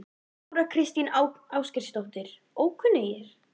Þóra Kristín Ásgeirsdóttir: Ókunnugir?